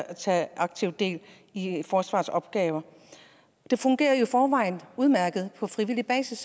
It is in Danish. tage aktivt del i forsvarets opgaver det fungerer jo i forvejen udmærket på frivillig basis